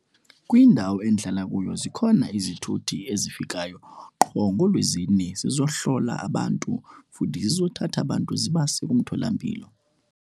Kwindawo endihlala kuyo zikhona izithuthi ezifikayo qho ngooLwezine zizohlola abantu futhi zizothatha abantu zibase kumtholampilo.